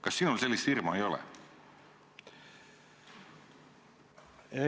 Kas sinul sellist hirmu ei ole?